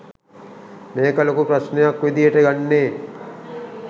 මේක ලොකු ප්‍රශ්නයක් විදියට ගන්නේ